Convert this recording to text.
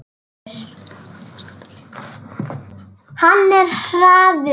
Hann er hraður.